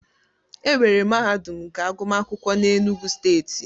Enwere mahadum nke agụmakwụkwọ n'Enugwu steeti.